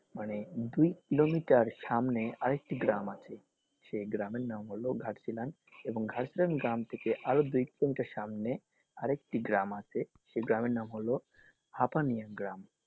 মানে দুই কিলোমিটার সামনে আরেকটি গ্রাম আছে সেই গ্রামের নাম হলো ঘাটশীলা এবং ঘাটশীলা গ্রাম থেকে আরও দুই কিলোমিটার সামনে আরেকটি গ্রাম আছে সেই গ্রামের নাম হল হাপানিয়া গ্রাম।